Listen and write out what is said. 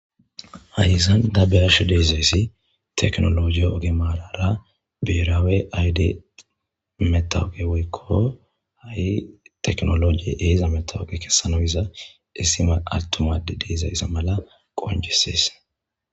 hayizan dabbeash deezayssi teknologiy oge maarara beeraawe ayde metawuge woykko ha7i teknologie eeza metawuge kessanoyiza issima altumade deezaysa mala qonjisees